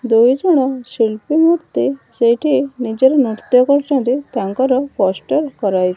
ଦୁଇ ଜଣ ଶିଳ୍ପୀ ମୁର୍ତ୍ତି ସେଇଠି ନିଜର ନୃତ୍ଯ କରୁଛିନ୍ତି ତାଙ୍କର ପୋଷ୍ଟର କରାଇବ --